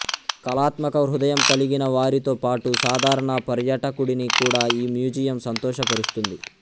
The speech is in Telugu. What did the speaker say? కళాత్మక హృదయం కలిగిన వారితో పాటు సాధారణ పర్యాటకుడిని కూడా ఈ మ్యూజియం సంతోషపరుస్తుంది